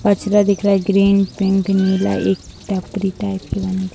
कचरा दिख रहा है ग्रीन पिंक नीला एक टपरी टाइप --